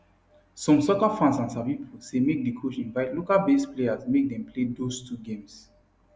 some soccer fans and sabi pipo say make di coach invite localbased players make dem play those two games